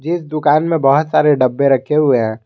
इस दुकान में बहुत सारे डब्बे रखे हुए हैं।